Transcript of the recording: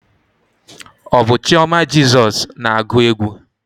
Ọ bụ chioma Jezos na-agụ egwu?